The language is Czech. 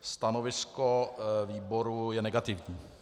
Stanovisko výboru je negativní.